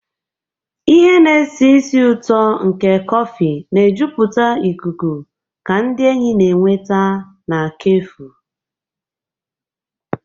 Ihe na-esi ísì ụtọ nke kọfị na-ejupụta ikuku ka ndị enyi na-enweta na kefu.